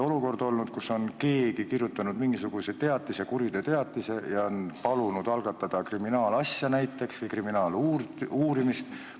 Keegi on kirjutanud mingisuguse teatise, kuriteoteatise, ja on palunud algatada näiteks kriminaalasja või kriminaaluurimist.